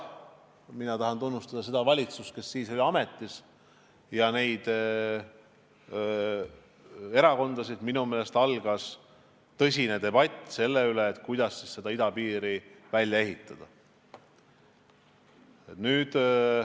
Mina tahan tunnustada seda valitsust, kes siis oli ametis, ja neid erakondasid, sest pärast seda algas tõsine debatt selle üle, kuidas idapiir tuleks välja ehitada.